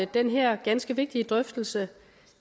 den her ganske vigtige drøftelse